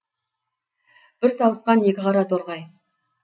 бір сауысқан екі қара торғай